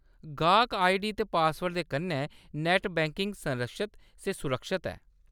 गाह्‌‌क आईडी ते पासवर्ड दे कन्नै नैट्ट बैंकिंग संरक्षत ते सुरक्षत ऐ।